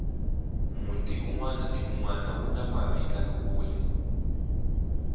munti unwana hi unwana wu na mavinakule